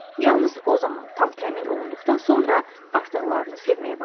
Yalnız o zaman, tam təmin olunduqdan sonra, artıqlarını sevməyə başlayın.